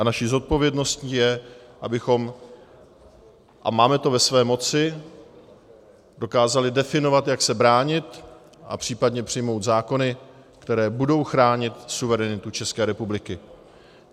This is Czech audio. A naší zodpovědností je, abychom - a máme to ve své moci - dokázali definovat, jak se bránit, a případně přijmout zákony, které budou chránit suverenitu České republiky.